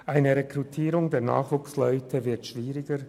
Die Rekrutierung von Nachwuchsleuten wird schwieriger.